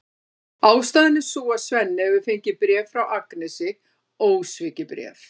Ástæðan er sú að Svenni hefur fengið bréf frá Agnesi, ósvikið bréf!